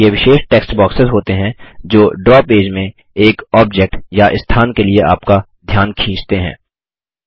वे विशेष text boxes होते हैं जो ड्रा पेज में एक ऑब्जेक्ट या स्थान के लिए आपका ध्यान खींचते हैं